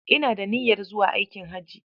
Ina da niyyar zuwa aikin hajji